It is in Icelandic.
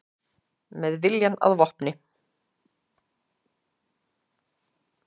Með viljann að vopni